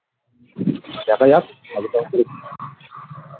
দেখা যাক .